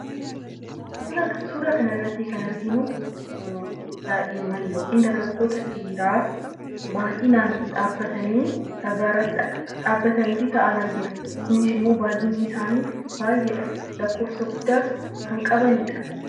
Suuraa kanarratti kan arginu daa'imman yookaan dargaggoota dhiiraa baay'inaan dhabbatanii fi taa'an argina. Baay'inni isaanii baay'ina kan qabanidha.